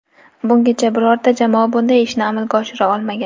Bungacha birorta jamoa bunday ishni amalga oshira olmagan.